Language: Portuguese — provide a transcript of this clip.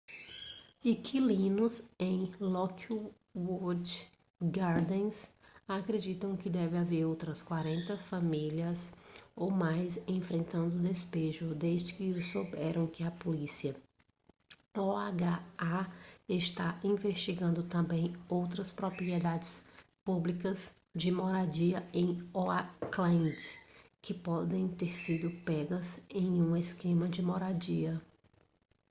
inquilinos em lockwood gardens acreditam que devem haver outras 40 famílias ou mais enfrentando despejo desde que souberam que a polícia oha está investigando também outras propriedades públicas de moradia em oakland que podem ter sido pegas em um esquema de moradia